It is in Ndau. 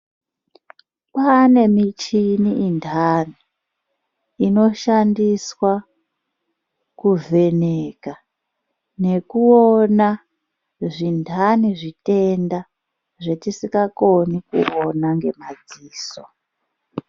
Kwaane michini inhani inoshandiswa kuvheneka nekuona zvinhani zvitenda zvatisingakoni kuona ngemadziso.